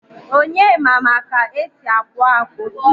Onyema ma ka esi akpu akpu